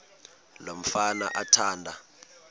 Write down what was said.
lo mfana athanda